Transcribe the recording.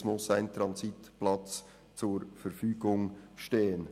Es muss ein Transitplatz zur Verfügung stehen.